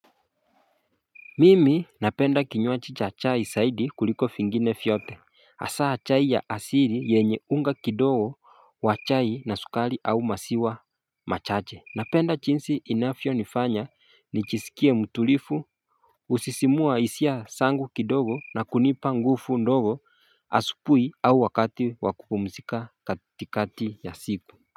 Mimi napenda kinywaji cha chai zaidi kuliko vingine vyote hasa chai ya asili yenye unga kidogo wa chai na sukari au maziwa machache Napenda jinsi inavyo nifanya nijisikie mtulivu husisimua hisia zangu kidogo na kunipa nguvu ndogo asubuhi au wakati wakupumzika katikati ya siku.